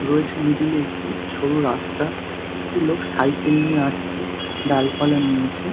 রয়েছে মিডল -এ একটি সরু রাস্তা একটি লোক সাইকেল নিয়ে আসছে ডালপালা নিয়ে এসে ।